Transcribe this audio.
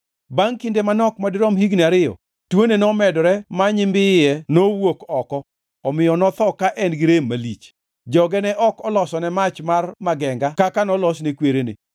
Bangʼ kinde manok madirom higni ariyo, tuone nomedore ma nyimbiye nowuok oko omiyo notho ka en gi rem malich. Joge ne ok olosone mach mar magenga kaka nolosne kwerene.